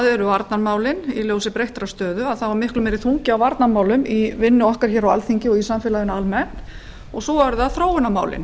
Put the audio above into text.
eru það varnarmálin en í ljósi breyttrar stöðu er miklu meiri þungi á varnarmálum bæði í vinnu okkar á alþingi og í samfélaginu almennt hins vegar eru það þróunarmálin